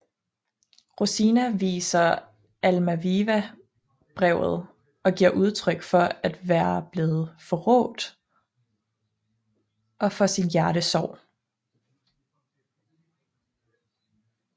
Rosina viser Almaviva brevet og giver udtryk for at være blevet forrådt og for sin hjertesorg